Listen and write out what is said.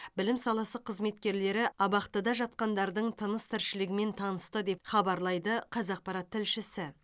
білім саласы қызметкерлері абақтыдағы жатқандардың тыныс тіршілігімен танысты деп хабарлайды қазақпарат тілшісі